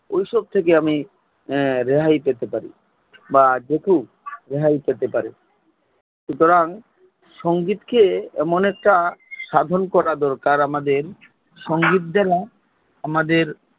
ওই সব থেকে আমি রেহাই পেতে পারি বা যেতু Help পেতে পারে সুতরাং সঙ্গীত কে এমন একটা সাধন করা দরকার আমাদের সঙ্গীত যেন আমাদের